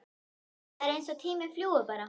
Það er eins og tíminn fljúgi bara!